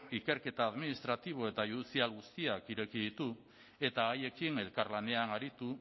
ikerketa administratibo eta judizial guztiak ireki ditu eta haiekin elkarlanean aritu